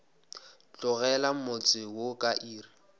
tlogela motse wo ka iri